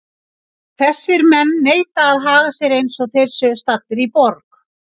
Þessir menn neita að haga sér eins og þeir séu staddir í borg.